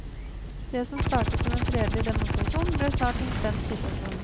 Det som startet som en fredelig demonstrasjon, ble snart en spent situasjon.